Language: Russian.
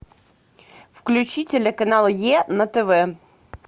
включи телеканал е на тв